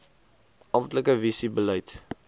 amptelike visie beleid